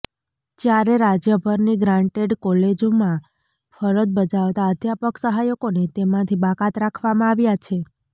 જ્યારે રાજ્યભરની ગ્રાન્ટેડ કોલેજમાં ફરજ બજાવતા અધ્યાપક સહાયકોને તેમાંથી બાકાત રાખવામાં આવ્યા છે